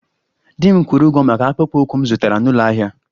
Di m kwụrụ ụgwọ maka akpụkpọ ụkwụ m zụtara n'ụlọ ahịa